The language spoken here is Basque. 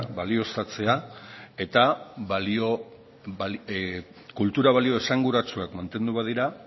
balioztatzea eta kultura balio esanguratsuak mantendu badira